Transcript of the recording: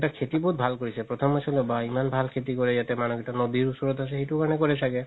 তাত খেতি বহুত ভাল কৰিছে প্ৰথমে ভাবিছিলো বাহ ইমান ভাল খেতি কৰে ইয়াতে মানুহ কেইটা নদিৰ ওচৰতে আছে সেইটো কাৰণতে ছাগে